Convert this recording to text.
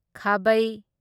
ꯈꯥꯕꯩ